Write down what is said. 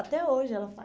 Até hoje ela faz.